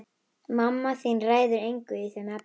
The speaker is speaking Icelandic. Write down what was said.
Mamma þín ræður engu í þeim efnum.